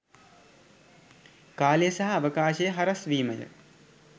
කාලය සහ අවකාශය හරස්වීමය.